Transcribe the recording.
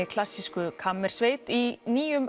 klassísku kammersveit í nýjum